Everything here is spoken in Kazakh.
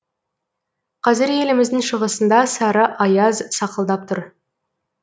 қазір еліміздің шығысында сары аяз сақылдап тұр